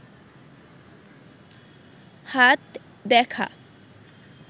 হাত দেখা